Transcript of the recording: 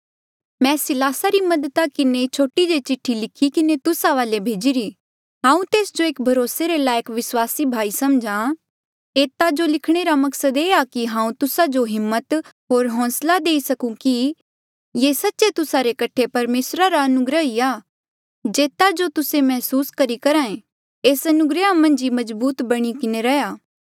मैं सिलासा री मददा किन्हें ये छोटी जे चिठ्ठी लिखी किन्हें तुस्सा वाले भेजिरी हांऊँ तेस जो एक भरोसे रे लायक विस्वासी भाई समझ्हा एता जो लिखणे रा मेरा मकसद ये आ कि हांऊँ तुस्सा जो हिम्मत होर होंसला देई सकूं कि ये सच्चे तुस्सा रे कठे परमेसरा रा अनुग्रह ही आ जेता रा तुस्से मैहसूस करी करहे एस अनुग्रहा मन्झ ही मजबूत बणी किन्हें रहा